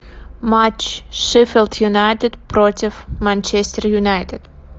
матч шеффилд юнайтед против манчестер юнайтед